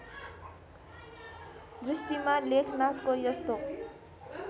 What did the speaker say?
दृष्टिमा लेखनाथको यस्तो